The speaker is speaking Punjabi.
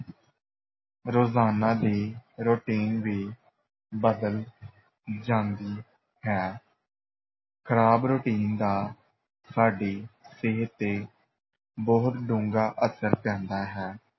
ਰੋਜ਼ਾਨਾ ਦੀ routine ਵੀ ਬਦਲ ਜਾਂਦੀ ਹੈ ਖਰਾਬ routine ਦਾ ਸਾਡੀ ਸਿਹਤ ‘ਤੇ ਬਹੁਤ ਡੂੰਘਾ ਅਸਰ ਪੈਂਦਾ ਹੈ।